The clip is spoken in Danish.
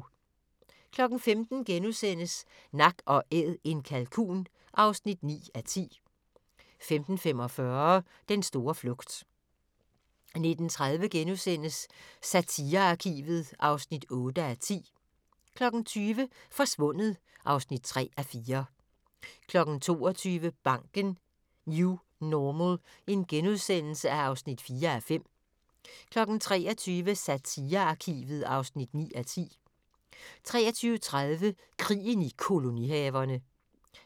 15:00: Nak & Æd - en kalkun (9:10)* 15:45: Den store flugt 19:30: Satirearkivet (8:10)* 20:00: Forsvundet (3:4) 22:00: Banken - New Normal (4:5)* 23:00: Satirearkivet (9:10) 23:30: Krigen i kolonihaverne